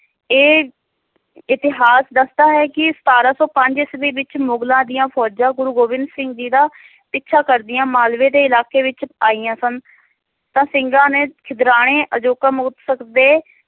ਇਹ ਇਤਿਹਾਸ ਦੱਸਦਾ ਹੈ ਕਿ ਸਤਾਰਾਂ ਸੌ ਪੰਜ ਈਸਵੀ ਵਿਚ ਮੁਗ਼ਲਾਂ ਦੀਆਂ ਫੋਜਾਂ ਗੁਰੂ ਗੋਬਿੰਦ ਸਿੰਘ ਜੀ ਦਾ ਪਿੱਛਾ ਕਰਦਿਆਂ ਮਾਲਵੇ ਦੇ ਇਲਾਕੇ ਵਿਚ ਆਈਆਂ ਸਨ ਤਾਂ ਸਿੰਘਾਂ ਨੇ ਛਿਦਰਾਣੇ